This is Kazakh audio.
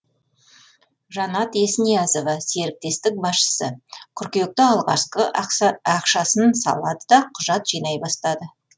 жанат есниязова серіктестік басшысы қыркүйекте алғашқы ақшасын салады да құжат жинай бастады